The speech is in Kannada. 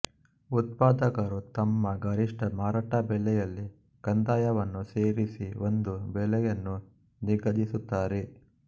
ಉತ್ಪಾದಕರು ತಮ್ಮ ಗರಿಷ್ಟ ಮಾರಾಟ ಬೆಲೆಯಲ್ಲಿ ಕಂದಾಯವನ್ನು ಸೇರಿಸಿ ಒಂದು ಬೆಲೆಯನ್ನು ನಿಗದಿಸುತ್ತಾರೆ